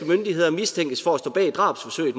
myndigheder mistænkes for at stå bag drabsforsøget